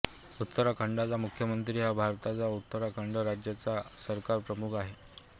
उत्तराखंडचा मुख्यमंत्री हा भारताच्या उत्तराखंड राज्याचा सरकारप्रमुख आहे